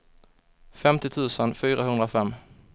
femtio tusen fyrahundrafem